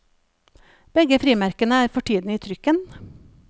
Begge frimerkene er for tiden i trykken.